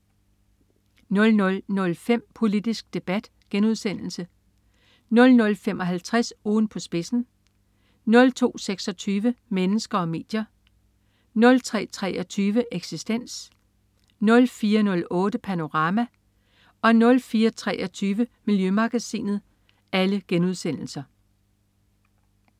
00.05 Politisk Debat* 00.55 Ugen på spidsen* 02.26 Mennesker og medier* 03.23 Eksistens* 04.08 Panorama* 04.23 Miljømagasinet*